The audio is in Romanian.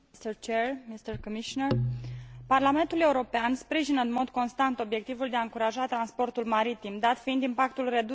Parlamentul European sprijină în mod constant obiectivul de a încuraja transportul maritim, dat fiind impactul redus pe care acesta îl are asupra mediului.